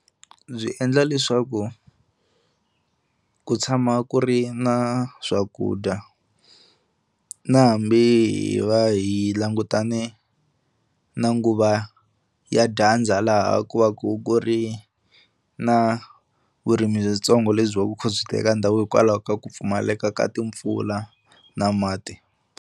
Byi endla leswaku ku tshama ku ri na swakudya na hambi hi va hi langutane na nguva ya dyandza laha ku va ku ku ri na vurimi byitsongo lebyi kha byi teka ndhawu hikwalaho ka ku pfumaleka ka timpfula na mati.